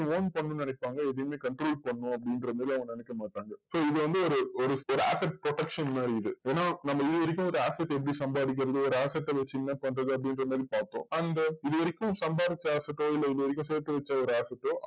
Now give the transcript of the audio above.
own பண்ணணுன்னு நினைப்பாங்க, எதையுமே control பண்ணனும் அப்படின்ற மாதிரி அவங்க நினைக்க மாட்டாங்க. so இது வந்து ஒரு ஒரு ஒரு asset protection மாதிரி இது. ஏன்னா நம்ம இதுவரைக்கும் ஒரு asset எப்படி சம்பாதிக்கறது? ஒரு asset அ வச்சு என்ன பண்றது? அப்படின்ற மாதிரி பாத்தோம். அந்த இதுவரைக்கும் சம்பாதிச்ச asset ஓ, இல்ல இதுவரைக்கும் சேத்து வச்ச ஒரு asset ஓ